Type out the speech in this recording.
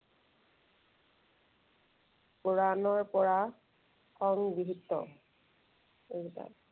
পুৰাণৰ পৰা সংগৃহীত এইকেইটা।